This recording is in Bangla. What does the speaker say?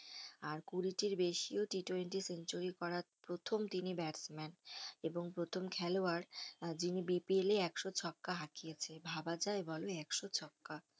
আর কুড়ি টির বেশিও T twenty সেঞ্চুরি করার প্রথম তিনি batsman এবং প্রথম খেলোয়াড় যিনি BPL এ একশো ছক্কা হাঁকিয়াছে ভাবা যায় বলো একশো ছক্কা